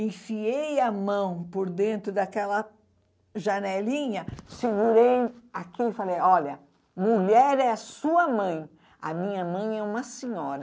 Enfiei a mão por dentro daquela janelinha, segurei aqui e falei, olha, mulher é sua mãe, a minha mãe é uma senhora.